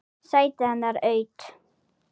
Sætið hennar autt.